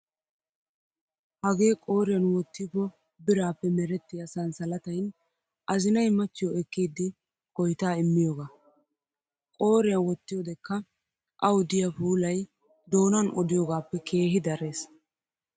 Hagee qooriyan wottiypo biraappe merettiyaa sanssalatayin azinayi machchiyoo ekkiiddi koyitaa immiyoogaa. Qooriyaa wottiyoodekka awu diyaa puulayi doonan odiyoogaappe keehi dares.